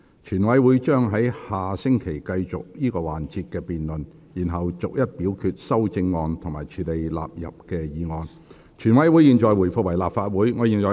全體委員會將於下星期繼續這個環節的辯論，然後逐一表決修正案及處理納入議案。現在回復為立法會。